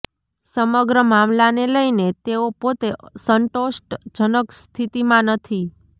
સમગ્ર મામલાને લઈને તેઓ પોતે સંતોષ્ટ જનક સ્થિતિમાં નથી